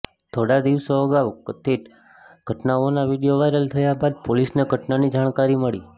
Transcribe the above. થોડા દિવસો અગાઉ કથિત ઘટનાનો આ વીડિયો વાયરલ થયા બાદ પોલીસને ઘટનાની જાણકારી મળી